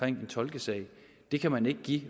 en tolkesag det kan man ikke give